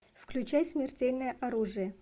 включай смертельное оружие